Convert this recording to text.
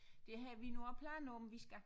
Det havde vi nu også planer om vi skal